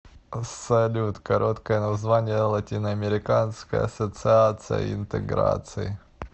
салют короткое название латиноамериканская ассоциация интеграции